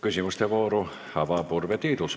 Küsimuste vooru avab Urve Tiidus.